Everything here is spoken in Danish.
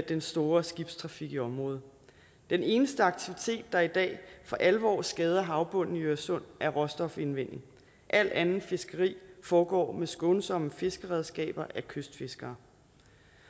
den store skibstrafik i området den eneste aktivitet der i dag for alvor skader havbunden i øresund er råstofindvinding alt anden fiskeri foregår med skånsomme fiskeredskaber af kystfiskere